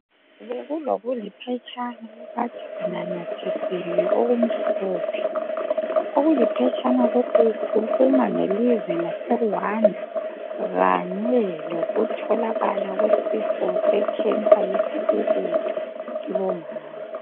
Kulokuliphetshana akade kunanyathiselwe okumhlophe okuliphetshana lokhu kukhuluma ngelizwe laseRuwanda kanye lokutholakala kwesifo sekhensa yesibeletho kubomama.